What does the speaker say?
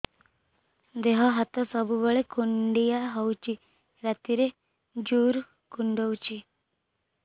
ଦେହ ହାତ ସବୁବେଳେ କୁଣ୍ଡିଆ ହଉଚି ରାତିରେ ଜୁର୍ କୁଣ୍ଡଉଚି